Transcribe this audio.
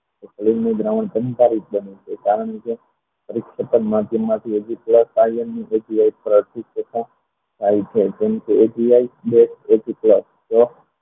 અલિંગ નું દ્રાવણ કારણ કે ફળમાંથી થાય છે જેને